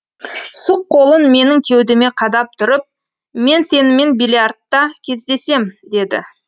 сұқ қолын менің кеудеме қадап тұрып мен сенімен биллиардта кездесем деді